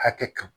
Hakɛ to